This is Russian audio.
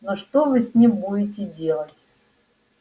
ну что вы с ним будете делать